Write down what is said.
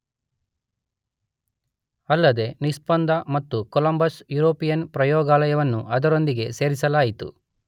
ಅಲ್ಲದೇ ನಿಸ್ಪಂದ ಮತ್ತು ಕೊಲಂಬಸ್ ಯುರೋಪಿಯನ್ ಪ್ರಯೋಗಾಲಯವನ್ನೂ ಅದರೊಂದಿಗೆ ಸೇರಿಸಲಾಯಿತು.